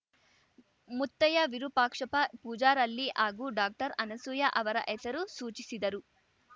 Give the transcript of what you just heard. ಮುತ್ತಯ್ಯ ವಿರೂಪಾಕ್ಷಪ್ಪ ಪೂಜಾರಳ್ಳಿ ಹಾಗೂ ಡಾಕ್ಟರ್ಅನಸೂಯ ಅವರ ಹೆಸರು ಸೂಚಿಸಿದರು